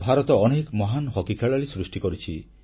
ଭାରତ ଅନେକ ମହାନ ହକି ଖେଳାଳି ସୃଷ୍ଟି କରିଛି